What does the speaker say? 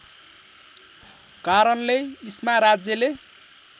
कारणले इस्मा राज्यले